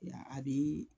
Ya a bi